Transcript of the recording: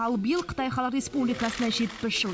ал биыл қытай халық республикасына жетпіс жыл